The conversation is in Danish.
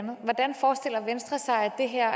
det her